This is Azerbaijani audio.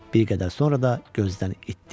Bir qədər sonra da gözdən itdi.